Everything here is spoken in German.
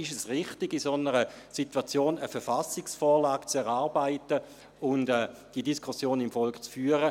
Ist es richtig, in einer solchen Situation eine Verfassungsvorlage zu erarbeiten und die Diskussion im Volk zu führen?